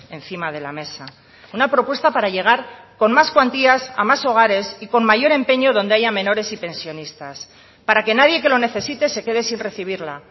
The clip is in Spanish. encima de la mesa una propuesta para llegar con más cuantías a más hogares y con mayor empeño donde haya menores y pensionistas para que nadie que lo necesite se quede sin recibirla